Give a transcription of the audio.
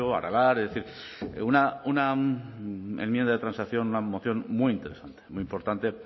aralar es decir una enmienda de transacción una moción muy interesante muy importante